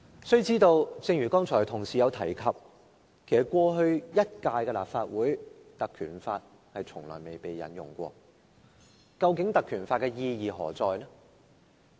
須知道，正如有同事剛才提及，在過去一屆的立法會，《條例》其實從來未被成功引用過，究竟《條例》的意義何在呢？